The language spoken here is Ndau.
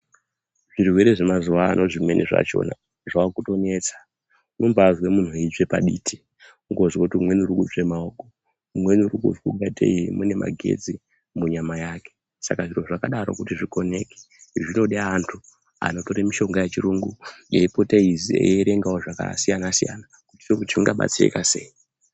Zvirwere zemazuwa ano Zvimweni zvachona zvakutonetsa. Unombazwe munhu eitsve patidi. Kungozwe kuti umweni urikutsve maoko, umweni urungatei mune magetsi munyama yake, Saka zviro zvakadaro kuti zvikoneke zvinode antu anotore mishonga yechirungu eipota eierengawo zvakasiyana -siyana kuitira kuti tingabatsirika sei.